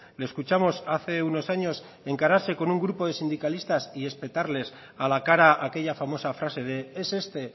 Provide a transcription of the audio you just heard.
le escuchamos hace unos años encararse con un grupo de sindicalistas y espetarles a la cara aquella famosa frase de es este